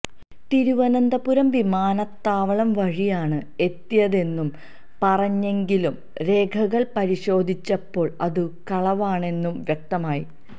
തിരുവനന്തപുരം വിമാനത്താവളം വഴിയാണ് എത്തിയതെന്നു പറഞ്ഞെങ്കിലും രേഖകൾ പരിശോധിച്ചപ്പോൾ അതു കളവാണെന്നു വ്യക്തമായി